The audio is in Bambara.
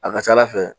A ka ca ala fɛ